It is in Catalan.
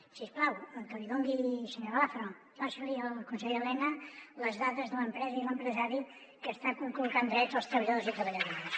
si us plau senyora lázaro passi li al conseller elena les dades de l’empresa i l’empresari que està conculcant drets als treballadors i treballadores